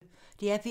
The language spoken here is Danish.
DR P1